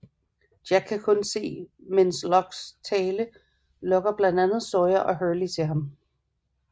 Jack kan kun se til mens Lockes tale lokker blandt andet Sawyer og Hurley til ham